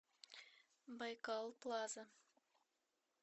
байкал плаза